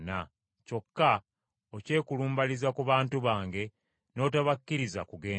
Kyokka okyekulumbaliza ku bantu bange n’otobakkiriza kugenda,